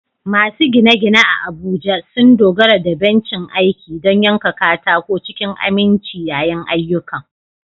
Masu gine-gine a Abuja sun dogara da bencin aiki don yanka katako cikin aminci yayin ayyukan.